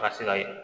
Ka se ka ye